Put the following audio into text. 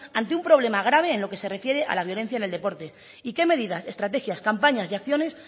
ante un problema grave en lo que se refiere a la violencia en el deporte y qué medidas estrategias campañas y acciones